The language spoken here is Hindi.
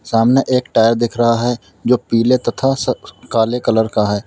सामने एक टायर दिख रहा है जो पीले तथा स काले कलर का है।